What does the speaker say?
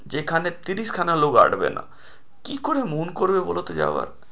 যেখানে তিরিশ খানা লোক আঁটবে না কি করে মন করবে বলোতো যাবার?